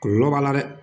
Kɔlɔlɔ b'a la dɛ